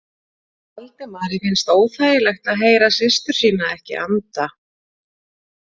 Valdimari fannst óþægilegt að heyra systur sína ekki anda.